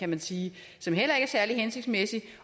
man sige som heller ikke er særlig hensigtsmæssig